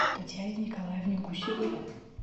татьяне николаевне гусевой